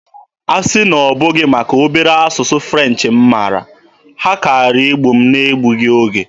Asị na ọ bụghị maka obere asụsụ French m mara, ha kaara igbu m n'egbughị oge.